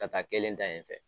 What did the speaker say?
Ka kelen tda yen fɛ.